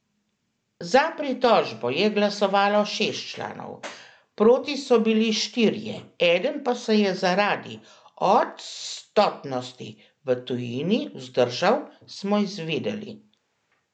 Za pritožbo je glasovalo šest članov, proti so bili štirje, eden pa se je zaradi odstotnosti v tujini vzdržal, smo izvedeli.